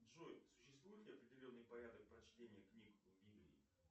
джой существует ли определенный порядок прочтения книг в библии